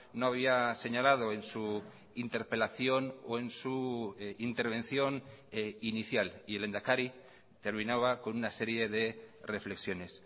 no había señalado en su interpelación o en su intervención inicial y el lehendakari terminaba con una serie de reflexiones